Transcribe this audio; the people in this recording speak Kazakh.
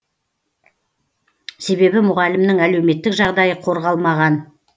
себебі мұғалімнің әлеуметтік жағдайы қорғалмаған